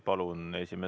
Palun!